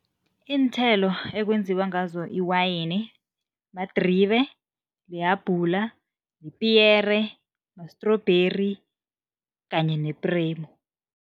Iinthelo ekwenziwa ngazo i-wayini, madribe, lihabhula, ipiyere, ma-strawberry kanye nepremu.